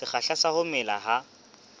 sekgahla sa ho mela ha